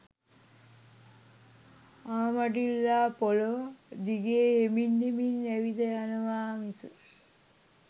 ආමඩිල්ලා පොළොව දිගේ හෙමින් හෙමින් ඇවිද යනවා මිස